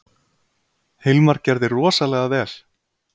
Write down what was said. Hilmar gerði rosalega vel.